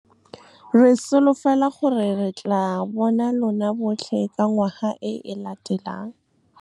Re solofela gore re tlaa bona LONA botlhe ka ngwaga e e letelang! Re solofela gore re tlaa bona LONA botlhe ka ngwaga e e letelang!